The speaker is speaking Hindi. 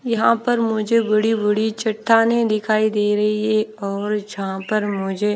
यहां पर मुझे बड़ी बड़ी चट्टानें दिखाई दे रही है और जहां पर मुझे--